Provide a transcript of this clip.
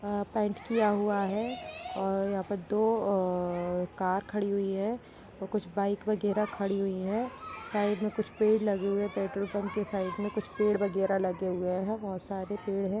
ह पेंट किया हुआ है और यहाँ पर दो अ अ कार खड़ी हुई है और कुछ बाइक वगेरा खड़ी हुई हैसाइड में कुछ पेड़ लगे हुए हैपेट्रोल पम्प क्व साइड में कुछ पेड़ वगेरा लगे हुए हैबहुत सारे पेड़ हैं ।